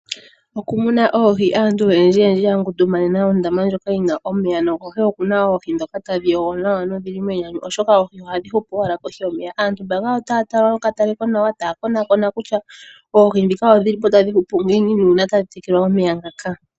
Okumuna oohi Aantu oyendjiyendji ya ngundumanena ondaama ndjoka yi na omeya nokohi oku na oohi ndhoka tadhi dhana nawa nodhi li menyanyu, oshoka oohi ohadhi hupu owala kohi yomeya. Aantu mbaka otaya tala nokatalekonawa taya konakona kutya oohi ndhika odhi li po tadhi huou ngiini nuuna tadhi tekelwa omeya ngaka.